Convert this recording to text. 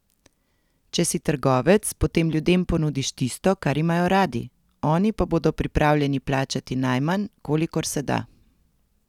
Če si trgovec, potem ljudem ponudiš tisto, kar imajo radi, oni pa bodo pripravljeni plačati najmanj, kolikor se da.